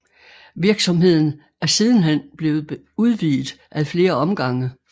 Virksomheden er sidenhen blevet udvidet ad flere omgange